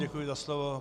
Děkuji za slovo.